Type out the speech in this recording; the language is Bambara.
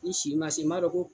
I si ma se m'a dɔn ko